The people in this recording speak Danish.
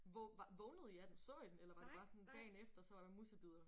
Hvor var vågnede I af den så I den eller var det bare sådan dagen efter så var det musebidder?